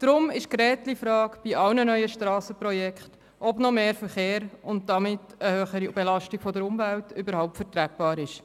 Darum ist die Gretchenfrage bei allen neuen Strassenprojekten, ob noch mehr Verkehr und damit eine noch höhere Belastung der Umwelt überhaupt tragbar ist.